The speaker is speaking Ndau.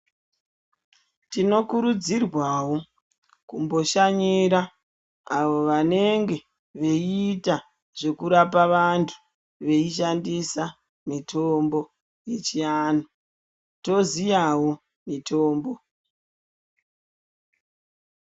Tinokurudzirwawo kumboshanyira avo vanenge veiita zvekurapa vantu veishandisa mitombo yechiantu toziyawo mitombo.